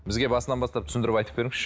бізге басынан бастап түсіндіріп айтып беріңізші